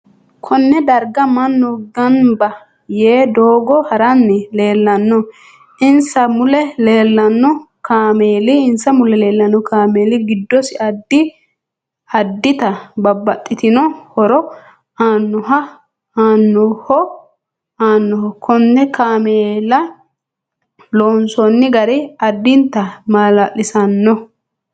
Konne darga mannu ganbba yee doogo haranni leelanno insa mule leelanno kaameeli giddosi addi addita babbaxitino horo aannoho kunne kaameela loonoosi gari addinta maalaliisiisanno